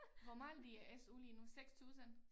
Hvor meget i SU lige nu 6000?